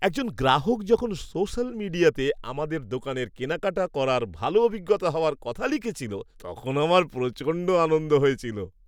একজন গ্রাহক যখন সোশ্যাল মিডিয়াতে আমাদের দোকানে কেনাকাটা করার ভালো অভিজ্ঞতা হওয়ার কথা লিখেছিল, তখন আমার প্রচণ্ড আনন্দ হয়েছিল।